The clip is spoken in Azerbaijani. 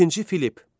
İkinci Filipp.